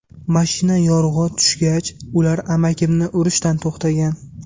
Mashina yorug‘i tushgach, ular amakimni urishdan to‘xtagan.